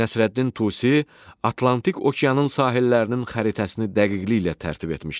Nəsrəddin Tusi Atlantik okeanın sahillərinin xəritəsini dəqiqliklə tərtib etmişdir.